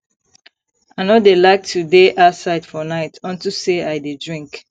i no dey like to dey outside for night unto say i dey drink